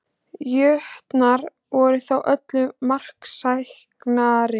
Jötnar voru þó öllu marksæknari